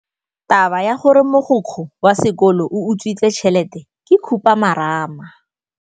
Taba ya gore mogokgo wa sekolo o utswitse tšhelete ke khupamarama.